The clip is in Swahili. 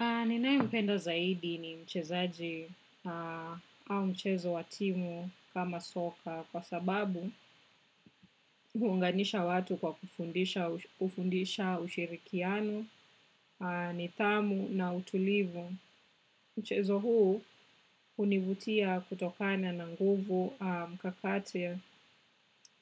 Ninayempenda zaidi ni mchezaji au mchezo wa timu kama soka kwa sababu huunganisha watu kwa kufundisha ushirikiano, nidhamu na utulivu. Mchezo huu hunivutia kutokana na nguvu